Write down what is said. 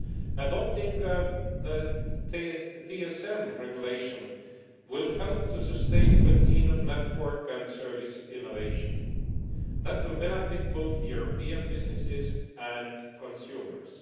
Adopting the TSM Regulation will help to sustain continued network and service innovation. That will benefit both European businesses and consumers.